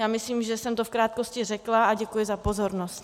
Já myslím, že jsem to v krátkosti řekla, a děkuji za pozornost.